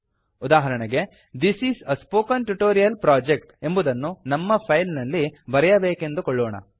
ಉದಾಹರಣೆಗೆ this is a spoken tutorial project ಎಂಬುದನ್ನು ನಮ್ಮ ಫೈಲ್ ನಲ್ಲಿ ಬರೆಯಬೇಕೆಂದುಕೊಳ್ಳೋಣ